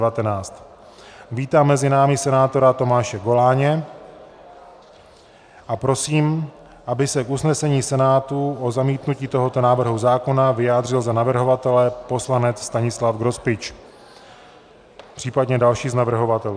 Vítám mezi námi senátora Tomáše Goláně a prosím, aby se k usnesení Senátu o zamítnutí tohoto návrhu zákona vyjádřil za navrhovatele poslanec Stanislav Grospič, případně další z navrhovatelů.